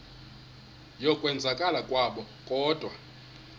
yokwenzakala kwabo kodwa